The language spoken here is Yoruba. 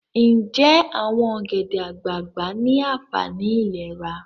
Nje awon ogede-agbagba ni aanfani ilera?